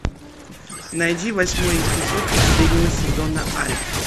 найди восьмой эпизод последнего сезона альф